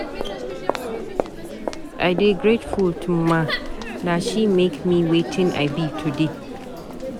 I dey grateful to Mma. Na she make me wetin I be today.